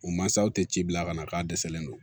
U mansaw tɛ ci bila ka na k'a dɛsɛlen don